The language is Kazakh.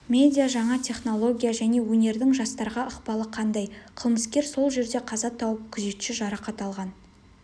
медиа жаңа технология және өнердің жастарға ықпалы қандай қылмыскер сол жерде қаза тауып күзетші жарақат алған